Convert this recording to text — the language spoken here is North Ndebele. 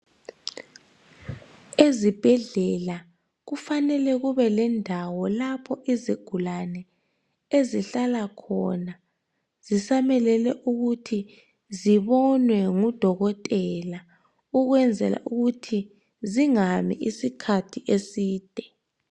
ezibhedlela kufanele kubelendawo lapho izigulane ezihlala khona zisamelele ukuthi zibonwe ngu dokotela ukwenzela ukuthi zaingami isikhathi eside